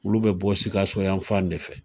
Olu bɛ bɔ sikaso yanfan de fɛ